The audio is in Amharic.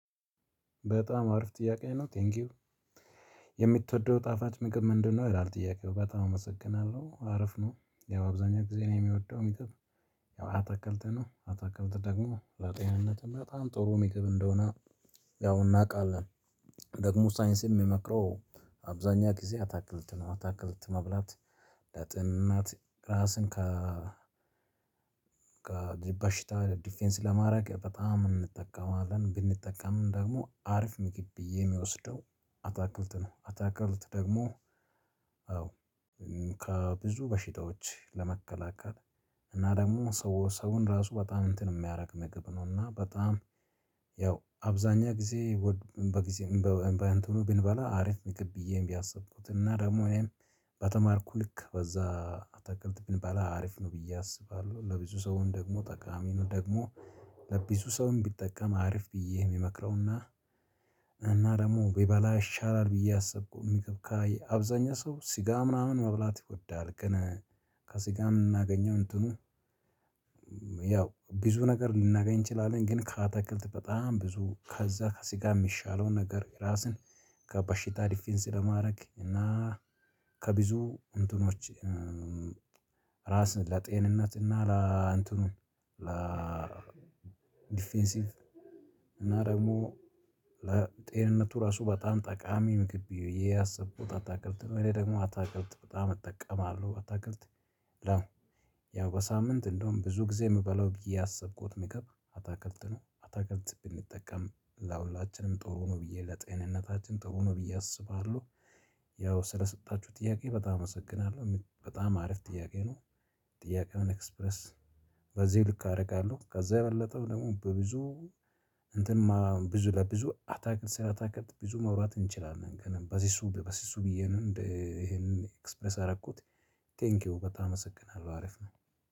በጣም አሪፍ ጥያቄ ነው ቴንኪው። የምትወደው ጣፋጭ ምግብ ምንድነው? ይላል ጥያቄው በጣም አመሰግናለሁ አሪፍ ነው ያው አብዛኛው ጊዜ ነው የምወደው የምግብ። ያው አትክልት ነው አትክልት ደግሞ ለጤንነትም በጣም ጥሩ የምግብ እንደሆነ። ያው እናውቃለን። ደግሞ ሳይንስ የሚመክረው አብዛኛ ጊዜ አታክልት ነው አታክልት መብላት። ለጤንነት ራስን ከ በሽታ ዲፌንስ ለማድረግ በጣም እንጠቀማለን። ብንጠቀምም ደግሞ አሪፍ ምግብ የምወስደው አታክልት ነው። አታክልት ደግሞ አዎ ከብዙ በሽታዎች ለመከላከል እና ደግሞ ሰው ሰውን ራሱ በጣም እንትን የሚያደርግ ምግብ ነውና በጣም ያው አብዛኛው ጊዜ። በጊዜ በእንትኑ ብንበላ አሪፍ ምግብ ብዬ ያሰብኩት እና ደግሞ እኔም በተማርኩ ልክ በዛ አታክልት ብንባላ አሪፍ ነው ብዬ አስባለሁ። ለብዙ ሰውም ደግሞ ጠቃሚ ነው። ደግሞ ለብዙ ሰውም ቢጠቀም አርፍ ብዬ የሚመክረውና። ደግሞ ቢበላ ይሻላል ብዬ አሰብኩ። የሚከብካይ አብዛኛው ሰው ስጋ ምናምን መብላት ይጎዳል ግን። ከስጋ ምናገኘው እንትኑ ያው ብዙ ነገር ልናገኝ እንችላለን። ግን ከአታክልት በጣም ብዙ ከዛ ከስጋ የሚሻለውን ነገር ራስን ከበሽታ ዲፌንስ ለማድረግ እና ከብዙ እንትኖች። ራስን ለጤንነት እና ለእንተኑ ለዲፌንሲቭ እና ደግሞ ለጤንነቱ ራሱ በጣም ጠቃሚ ምግብ ብዬ ያሰብኩት አታክልት ነው። እኔ ደግሞ አታክልት በጣም እጠቀማለሁ አታክልት። ያው በሳምንት እንደውም ብዙ ጊዜ የምበላው ያሰብኩት ምግብ አታክልት ነው አታክልት ብንጠቀም ለሁላችንም ጥሩ ነው ብዬ ለጤንነታችን ጥሩ ነው ብዬ አስባለሁ። ያው ስለሰጣችሁ ጥያቄ በጣም አመሰግናለሁ በጣም አሪፍ ጥያቄ ነው። ጥያቄውን ኤክስፕረስ በዚህ ልክ አደርጋለሁ። ከዛ የበለጠው ደግሞ በብዙ እንትን ብዙ ለብዙ አታክል ስራ አታክል ብዙ ማውራት እንችላለን። ገና በዚህ እሱ በዚህ እሱ ብዬ ነው ይሄንን ኤክስፕረስ አደረኩት። ቴንኪው በጣም አመሰግናለሁ አሪፍ ነው።